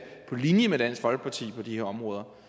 på linje med dansk folkeparti på de her områder